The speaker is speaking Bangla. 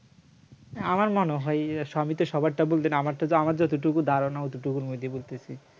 আমার মনে হয় আচ্ছা আমি তো সবারটা বলতে আমারটা যত আমার যতটুকু ধারণা অতটুকুর মধ্যেই বলতেছি